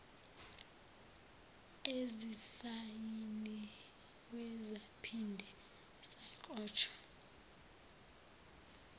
ezisayiniwe zaphinde zagqotshwa